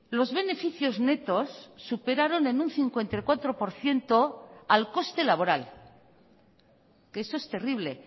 los beneficios netos superaron en un cincuenta y cuatro por ciento al coste laboral que eso es terrible